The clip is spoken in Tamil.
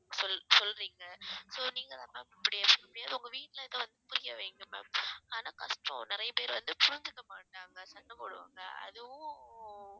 சொல் சொல்றிங்க so நீங்க தான் ma'am எப்படியாச்சு உங்க வீட்டுல இருக்~ புரிய வைங்க ma'am ஆனா கஷ்டம் நிறைய பேர் வந்து புரிஞ்சுக்க மாட்டாங்க சண்டை போடுவாங்க அதுவும்